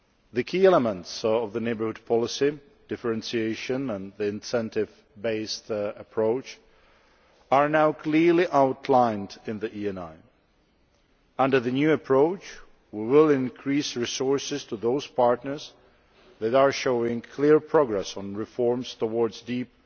The key elements of the neighbourhood policy differentiation and the incentive based approach are now clearly outlined in the ENI. Under the new approach we will increase resources to those partners that are showing clear progress on reforms towards deep